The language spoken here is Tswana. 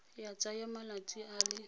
ya tsaya malatsi a le